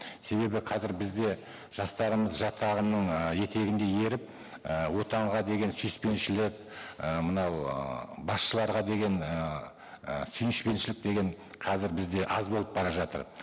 себебі қазір бізде жастарымыз жат ағымның ы етегінде еріп і отанға деген сүйіспеншілік і мынау ыыы басшыларға деген ыыы сүйіспеншілік деген қазір бізде аз болып бара жатыр